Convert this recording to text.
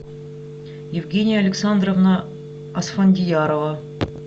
евгения александровна асфандьярова